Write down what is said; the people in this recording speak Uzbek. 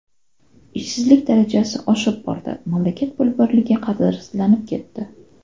Ishsizlik darajasi oshib bordi, mamlakat pul birligi qadrsizlanib ketdi.